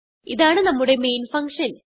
ഇതാണ് നമ്മുടെ main function